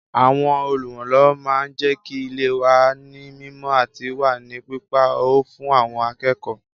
Àwọn Olùrànlọ́wọ́ máa ń jẹ́kí ilé wà ní mímọ àti wà ní pípa ọ́ fún àwọn akẹ́kọ̀ọ́